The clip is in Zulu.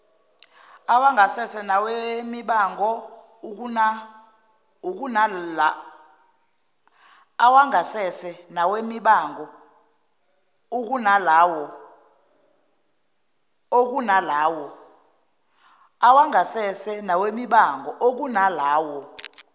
awangasese nawemibango ukunalawo